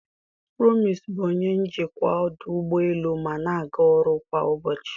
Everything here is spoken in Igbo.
Promise bụ onye njikwa ọdụ ụgbọ elu ma na-aga ọrụ kwa ụbọchị.